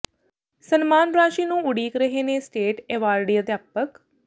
ਸਨਮਾਨ ਰਾਸ਼ੀ ਨੂੰ ਉਡੀਕ ਰਹੇ ਨੇ ਸਟੇਟ ਐਵਾਰਡੀ ਅਧਿਆਪਕ